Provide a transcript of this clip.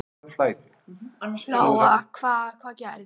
Lóa: Hvað, hvað gerðist?